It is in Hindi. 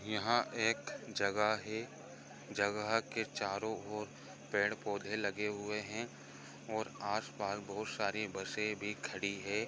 यहाँ एक जगह है जगह के के चारो और पेड़ पौधे लगे हुए है और आस पास बहुत सारी बसे भी खड़ी है।